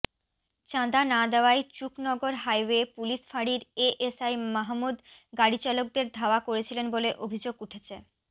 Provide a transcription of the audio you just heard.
চাঁদা না দেওয়ায় চুকনগর হাইওয়ে পুলিশ ফাঁড়ির এএসআই মাহমুদ গাড়িচালকদের ধাওয়া করছিলেন বলে অভিযোগ উঠেছে